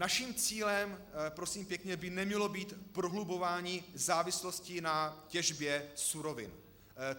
Naším cílem, prosím pěkně, by nemělo být prohlubování závislosti na těžbě surovin.